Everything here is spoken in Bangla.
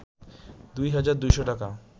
২ হাজার ২’শ টাকা